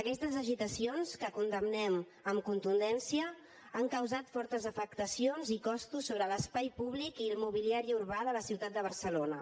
aquestes agitacions que condemnem amb contundència han causat fortes afectacions i costos sobre l’espai públic i el mobiliari urbà de la ciutat de barcelona